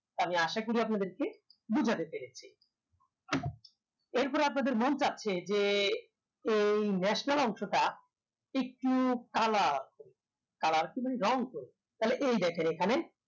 আমি আসা করি আপনাদেরকে বুজাতে পেরেছি এরপর আপনাদের মন চাচ্ছে যে এই national অংশটা একটু colour করবো colour রং করবো তাহলে এই দেখেন এখানে